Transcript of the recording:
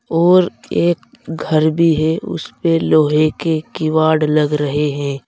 और एक घर भी है। उसपे लोहे के किवाड़ लग रहे हैं।